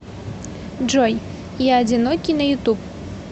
джой я одинокий на ютуб